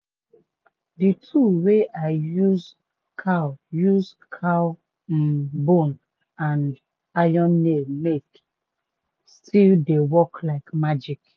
de tool wey i use cow use cow um bone and iron nails take make still dey work like magic.